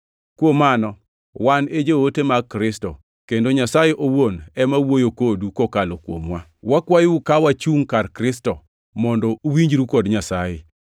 Kuom mano, wan e joote mag Kristo, kendo Nyasaye owuon ema wuoyo kodu kokalo kuomwa. Wakwayou ka wachungʼ kar Kristo, mondo uwinjru kod Nyasaye.